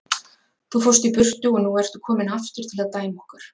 Þú fórst í burtu og nú ertu kominn aftur til að dæma okkur.